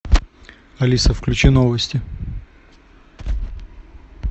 алиса включи новости